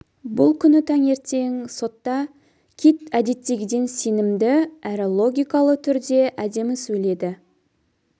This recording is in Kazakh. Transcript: бұл күні таңертең сотта кит әдеттегіден сенімді әрі логикалы түрде әдемі сөйледі